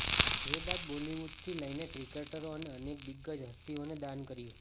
જે બાદ બોલિવૂડથી લઈને ક્રિકેટરો અને અનેક દિગ્ગજ હસ્તીઓએ દાન કર્યું